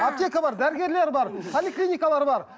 аптека бар дәрігерлер бар поликлиникалар бар